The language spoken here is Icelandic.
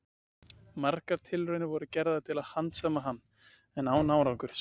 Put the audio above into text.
Margar tilraunir voru gerðar til að handsama hann, en án árangurs.